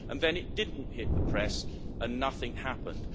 And then it did not hit the press and nothing happened.